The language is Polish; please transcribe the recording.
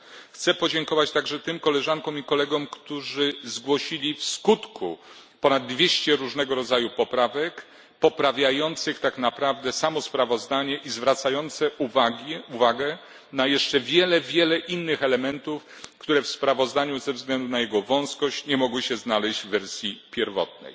Chcę podziękować także tym koleżankom i kolegom, którzy zgłosili w sumie ponad dwieście różnego rodzaju poprawek, poprawiających tak naprawdę samo sprawozdanie i zwracających uwagę na jeszcze bardzo wiele innych elementów, które w sprawozdaniu, ze względu na jego ograniczony zakres, nie mogły się znaleźć w wersji pierwotnej.